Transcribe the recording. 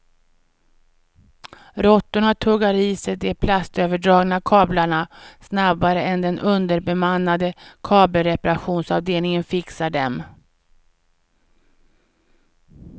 Råttorna tuggar i sig de plastöverdragna kablarna snabbare än den underbemannade kabelreparationsavdelningen fixar dem.